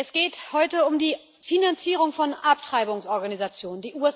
Es geht heute um die Finanzierung von Abtreibungsorganisationen.